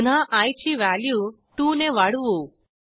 पुन्हा आय ची व्हॅल्यू 2 ने वाढवू